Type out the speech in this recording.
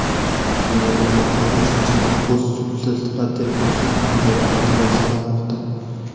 Dunyo bo‘ylab har uchinchi mahbus sudsiz va tergovsiz panjara ortida saqlanmoqda.